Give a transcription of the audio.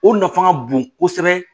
O nafan ka bon kosɛbɛ